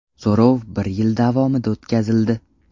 So‘rov bir yil davomida o‘tkazildi.